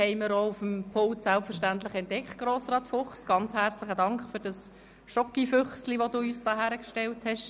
Vielen herzlichen Dank, Grossrat Fuchs, für das Schokolade-Füchslein, das Sie uns aufs Pult gestellt haben.